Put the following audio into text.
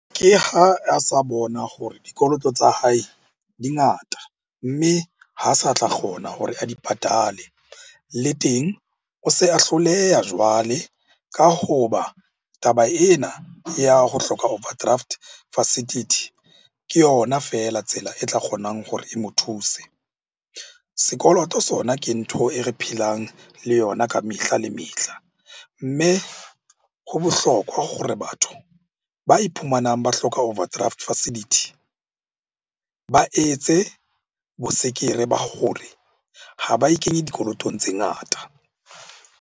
Ke ha a sa bona hore dikoloto tsa hae di ngata, mme ha sa tla kgona hore a di patale. Le teng o se a hloleha jwale ka hoba taba ena ya ho hloka overdraft facility ke yona feela tsela e tla kgonang hore e mo thuse. Sekoloto sona ke ntho e re phelang le yona ka mehla le mehla. Mme ho bohlokwa gore batho ba iphumanang ba hloka overdraft facility ba etse ba gore ha ba ikenye dikolotong tse ngata.